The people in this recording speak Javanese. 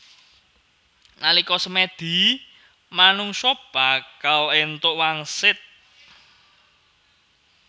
Nalika semèdi manungsa bakal èntuk wangsit